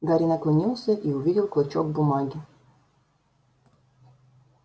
гарри наклонился и увидел клочок бумаги